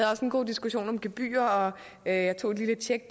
også en god diskussion om gebyrer og jeg tog lige et tjek